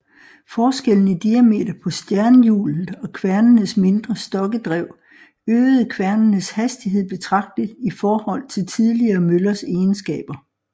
Forskellen i diameter på stjernhjulet og kværnenes mindre stokkedrev øgede kværnenes hastighed betragteligt i forhold til tidligere møllers egenskaber